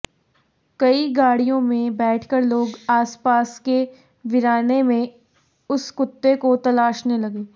कई गाड़ियों में बैठकर लोग आसपास के वीराने में उस कुत्ते को तलाशने लगे